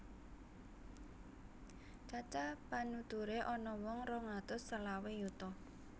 Cacah panuturé ana wong rong atus selawe yuta